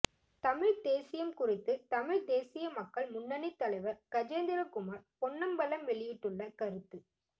தமிழ்த் தேசியம் குறித்து தமிழ்த் தேசிய மக்கள் முன்னணி தலைவர் கஜேந்திரகுமார் பொன்னம்பலம் வௌியிட்டுள்ள கருத்து